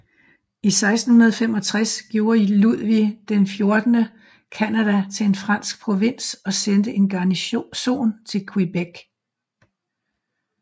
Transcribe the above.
I 1665 gjorde Ludvig XIV Canada til en fransk provins og sendte en garnison til Québec